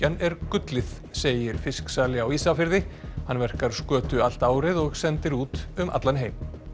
er gullið segir á Ísafirði hann verkar skötu allt árið og sendir út um allan heim